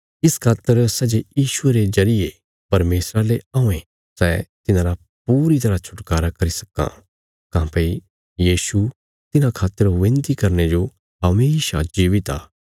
इस खातर सै जे यीशुये रे जरिये परमेशरा ले औयें सै तिन्हांरा पूरी तरह छुटकारा करी सक्कां काँह्भई यीशु तिन्हां खातर विनती करने जो हमेशा जीवित आ